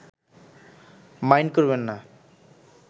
mind করবেন না